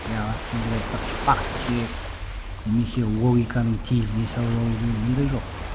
ы сіздер айтпақшы факт чек немесе логиканың тезіне салып алу деген ондай жоқ